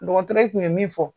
Dɔgɔtɔrɔyi tun ye min fɔ